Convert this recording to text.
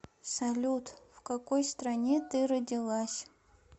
салют в какой стране ты родилась